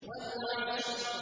وَالْعَصْرِ